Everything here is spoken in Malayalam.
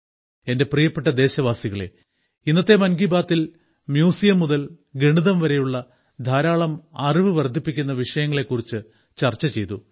എന്റെ പ്രിയപ്പെട്ട ദേശവാസികളേ ഇന്നത്തെ മൻകി ബാത്തിൽ മ്യൂസിയം മുതൽ ഗണിതം വരെയുള്ള ധാരാളം അറിവ് വർദ്ധിപ്പിക്കുന്ന വിഷയങ്ങളെ കുറിച്ച് ചർച്ച ചെയ്തു